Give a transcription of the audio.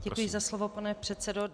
Děkuji za slovo, pane předsedo.